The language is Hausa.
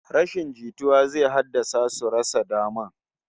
Rashin jituwa zai haddasa su rasa daman